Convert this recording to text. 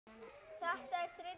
Þetta er þriðja vers.